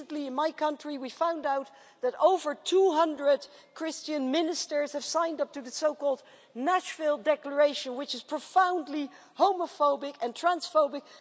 Recently in my country we found out that over 200 Christian ministers have signed up to the so-called Nashville declaration, which is profoundly homophobic and transphobic.